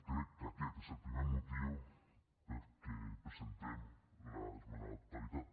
crec que aquest és el primer motiu pel qual presentem l’esmena a la totalitat